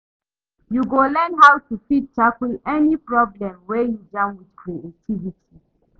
Yu go learn how to fit tackle any problem wey you jam wit creativity